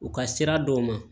U ka sira dɔw ma